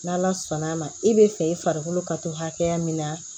N'ala sɔnn'a ma i bɛ fɛ i farikolo ka to hakɛya min na